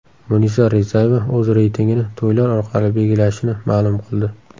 Munisa Rizayeva o‘z reytingini to‘ylar orqali belgilashini ma’lum qildi.